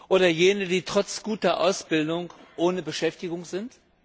Oder jene, die trotz guter Ausbildung ohne Beschäftigung sind?